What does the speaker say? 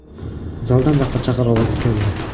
Zaldan baqir-chaqir ovozi keldi.